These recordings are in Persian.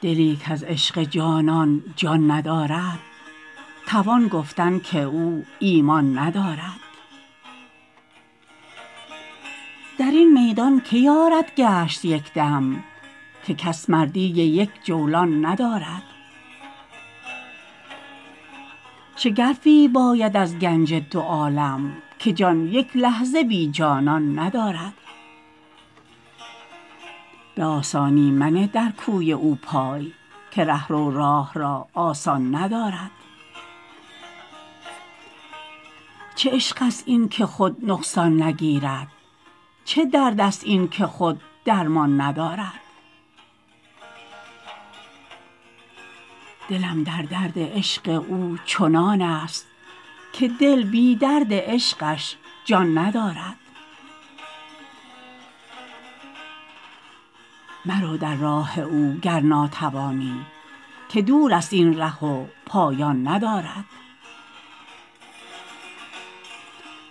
دلی کز عشق جانان جان ندارد توان گفتن که او ایمان ندارد درین میدان که یارد گشت یکدم که کس مردی یک جولان ندارد شگرفی باید از گنج دو عالم که جان یک لحظه بی جانان ندارد به آسانی منه در کوی او پای که رهرو راه را آسان ندارد چه عشق است این که خود نقصان نگیرد چه درد است این که خود درمان ندارد دلم در درد عشق او چنان است که دل بی درد عشقش جان ندارد مرو در راه او گر ناتوانی که دور است این ره و پایان ندارد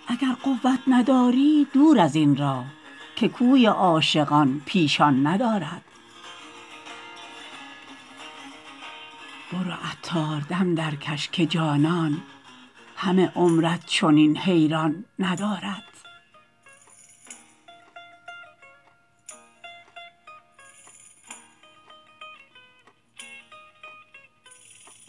اگر قوت نداری دور ازین راه که کوی عاشقان پیشان ندارد برو عطار دم درکش که جانان همه عمرت چنین حیران ندارد